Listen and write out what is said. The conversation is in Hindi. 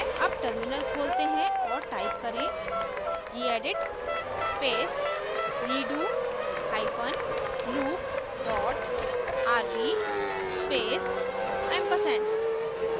अब टर्मिनल खोलते हैं और टाइप करें gedit space redo hyphen loop dot rb space & ampersand